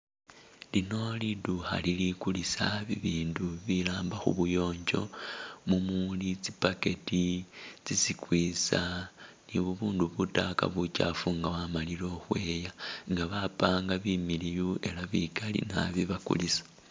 lino liduukha li ligulisa bibindu ibiramba khubuyonjo mumuuli tsi'bucket tsi'sqeezer ni bubundu butayaka bukyaafu nga wamalile khukhweya nga bapanga bimiliyu ela bikali naabi bakulisa